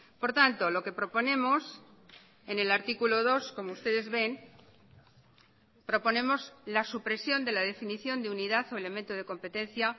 por tanto lo que proponemos en el artículo dos como ustedes ven proponemos la supresión de la definición de unidad o elemento de competencia